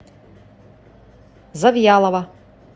завьялова